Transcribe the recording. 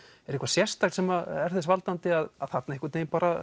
er eitthvað sérstakt sem er þess valdandi að þarna einhvern vegin